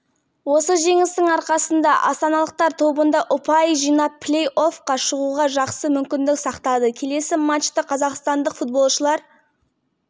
алматы қазан қаз мұнай нарығының талдаушылары жылға арналған баға болжамдарына бірауыздан пікір айтпайды деп хабарлайды нефть россии ақпараттық-талдамалық порталы